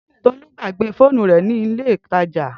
Tolu gbagbe foonu re ninu ile itaja.